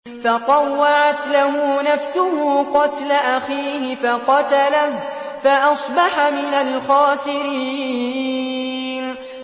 فَطَوَّعَتْ لَهُ نَفْسُهُ قَتْلَ أَخِيهِ فَقَتَلَهُ فَأَصْبَحَ مِنَ الْخَاسِرِينَ